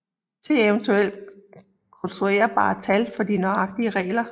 Se eventuelt konstruerbare tal for de nøjagtige regler